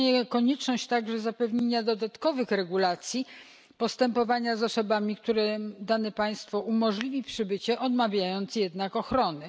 Istnieje także konieczność zapewnienia dodatkowych regulacji dotyczących postępowania z osobami, którym dane państwo umożliwi przybycie, odmawiając jednak ochrony.